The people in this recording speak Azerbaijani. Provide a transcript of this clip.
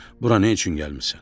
Bura nə üçün gəlmisən?